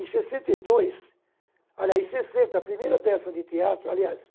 Em sessenta e dois, aliás, em sessenta, a primeira peça de teatro – aliás,